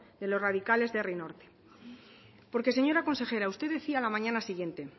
de los radicales de herri norte porque señora consejera usted decía a la mañana siguiente